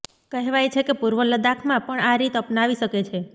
કહેવાય છે કે પૂર્વ લદ્દાખમાં પણ આ રીત અપનાવી શકે છે